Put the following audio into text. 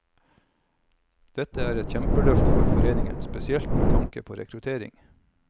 Dette er et kjempeløft for foreningen, spesielt med tanke på rekruttering.